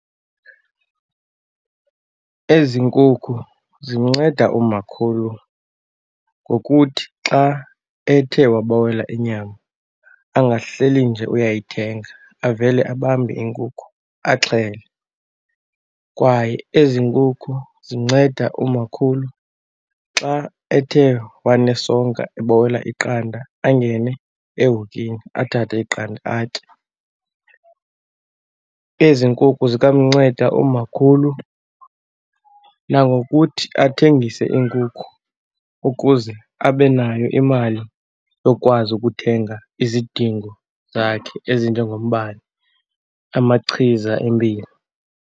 Ezi nkukhu zinceda umakhulu ngokuthi xa ethe wabawela inyama angahleli nje uyayithenga, avele abambe inkukhu axhele. Kwaye ezi nkukhu zinceda umakhulu xa ethe wanesonka ebawela iqanda, angene ehokini athathe iqanda atye. Ezi nkukhu zikwamnceda umakhulu nangokuthi athengise iinkukhu ukuze abe nayo imali yokwazi ukuthenga izidingo zakhe ezinjengombane, amachiza empilo.